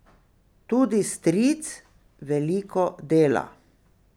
Tudi stric veliko dela.